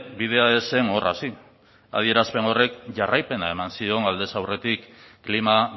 bidea ez zen hor hasi adierazpen horrek jarraipena eman zion aldez aurretik klima